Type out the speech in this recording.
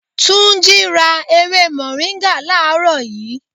3. Túnjí rà ewé moringa làárọ̀ yii